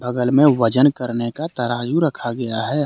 बगल में वजन करने का तराजू रखा गया है।